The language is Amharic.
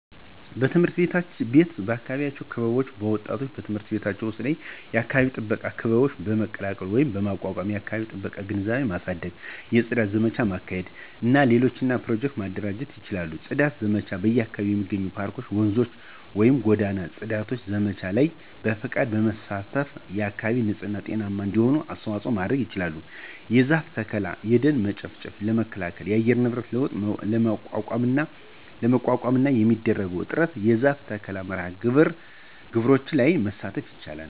_የትምህርት ቤት የአካባቢ ክበቦች ወጣቶች በትምህርት ቤቶቻቸው ዉስጥ የአካባቢ ጥበቃ ክበቦች በመቀላቀል ወይም በማቋቋም የአከባቢ ጥበቃ ግንዛቤ ማሳደግ፣ የጽዳት ዘመቻ ማካሄድ እና ሌሎች ኘሮጀክቱ ማደራጀት ይችላሉ። የጽዳት ዘመቻ በአካባቢው የሚገኙ የፓርኮች፣፧ ወንዞችን ወይም ጎዳናው የጽዳት ዘመቻዎች ላይ በፈቃደኝነት በመሳተፍ አካባቢ ንጽህና ጤናማ እንዲሆን አስተዋጽኦ ማድረጉ ይችላል። የዛፍ ተከላ። የደን መጨፍጨፍ ለመከላከል እና የአየር ንብረት ለውጥ ለመቋቋምና በሚደረገው ጥረት የዛፍ ተከላ መርሐ ግብሮች ላይ መሳተፍ ይችላል